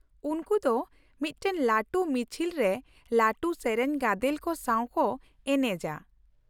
ᱩᱱᱠᱩ ᱫᱚ ᱢᱤᱫᱴᱟᱝ ᱞᱟᱹᱴᱩ ᱢᱤᱪᱷᱤᱞ ᱨᱮ ᱞᱟᱹᱴᱩ ᱥᱮᱨᱮᱧ ᱜᱟᱫᱮᱞ ᱠᱚ ᱥᱟᱶ ᱠᱚ ᱮᱱᱮᱡᱼᱟ ᱾